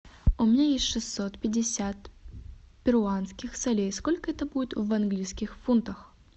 у меня есть шестьсот пятьдесят перуанских солей сколько это будет в английских фунтах